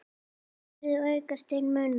hefur aukist til muna.